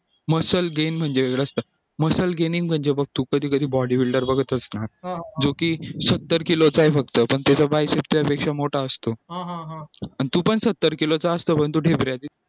muscle game म्हणजे muscle gaming म्हणजे बघ तू कधी कधी body builder बघत असणार जोकी सत्तर किलोचा ए फक्त पण त्याचा bicep त्यापेक्षा मोठा असतो आणि तू पण सत्तर किलोचा असतो पण तो ढेबऱ्या